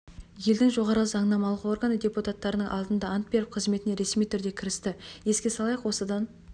елдің жоғарғы заңнамалық органы депутаттарының алдында ант беріп қызметіне ресми түрде кірісті еске салайық осыдан